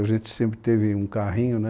A gente sempre teve um carrinho, né?